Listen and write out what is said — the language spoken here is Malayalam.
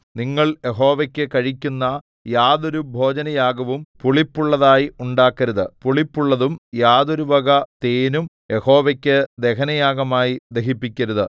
നിങ്ങൾ യഹോവയ്ക്കു കഴിക്കുന്ന യാതൊരു ഭോജനയാഗവും പുളിപ്പുള്ളതായി ഉണ്ടാക്കരുത് പുളിപ്പുള്ളതും യാതൊരു വക തേനും യഹോവയ്ക്കു ദഹനയാഗമായി ദഹിപ്പിക്കരുത്